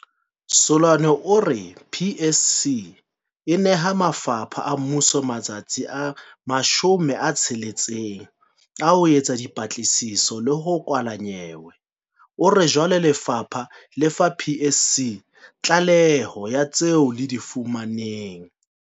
Seloane o re PSC e neha mafapha a mmuso matsatsi a 60 a ho etsa dipatlisiso le ho kwala nyewe. O re jwale lefapha le fa PSC tlaleho ya tseo le di fumaneng.